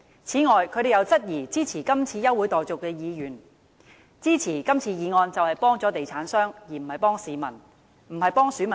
此外，他們又質疑支持這項休會待續議案的議員，說支持議案就是幫助地產商，而不是幫市民或選民辦事。